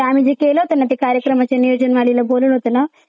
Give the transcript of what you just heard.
आम्ही केलं होतं ना जे कार्यक्रमाच्या नियोजनवालीला बोलवलं होतं ना